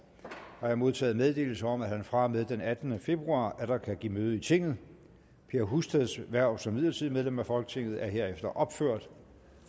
har jeg modtaget meddelelse om at han fra og med den attende februar atter kan give møde i tinget per husteds hverv som midlertidigt medlem af folketinget er herefter ophørt